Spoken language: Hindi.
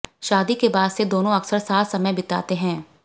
शादी के बाद से दोनों अक्सर साथ समय बिताते हैं